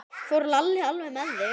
Fór Lalli alveg með þig?